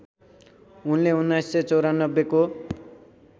उनले १९९४ को